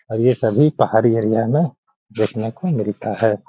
और ये सभी पहाड़ी एरिया में देखने को मिलता है। .